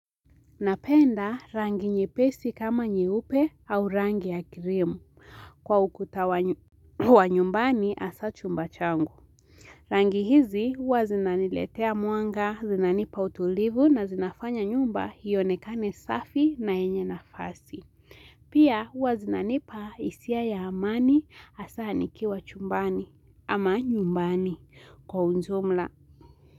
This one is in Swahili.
Napenda rangi nyepesi kama nyeupe au rangi ya kirimu kwa ukuta wa nyumbani hasa chumba changu. Rangi hizi huwa zinaniletea muanga, zinanipa utulivu na zinafanya nyumba hionekane safi na yenye nafasi. Pia huwa zinanipa hisia ya amani hasa nikiwa chumbani ama nyumbani kwa unjumla.